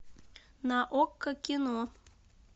на окко кино